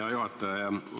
Hea juhataja!